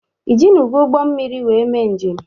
Ị jinugo ụgbọ mmiri wee mee njem?